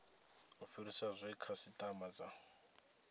u fhirisa zwe khasitama dza